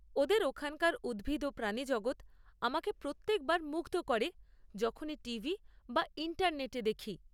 ওদের ওখানকার উদ্ভিদ ও প্রাণী জগত আমাকে প্রত্যেক বার মুগ্ধ করে যখনই টিভি বা ইন্টারনেটে দেখি।